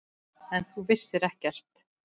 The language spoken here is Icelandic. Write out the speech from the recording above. En þú vissir ekkert.